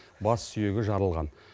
бас сүйегі жарылған